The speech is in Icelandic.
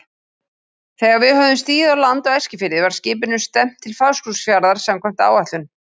Þegar við höfðum stigið á land á Eskifirði var skipinu stefnt til Fáskrúðsfjarðar samkvæmt áætlun.